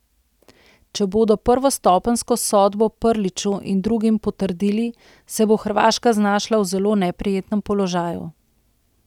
Če bodo prvostopenjsko sodbo Prliću in drugim potrdili, se bo Hrvaška znašla v zelo neprijetnem položaju.